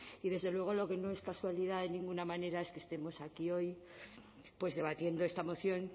y desde luego lo que no es casualidad de ninguna manera es que estemos aquí hoy pues debatiendo esta moción